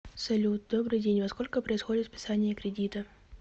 салют добрый день во сколько происходит списание кредита